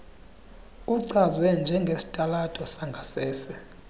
uchazwe njengesitalato sangasese